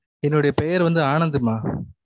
என்னுடைய பெயர் வந்து ஆனந்து மா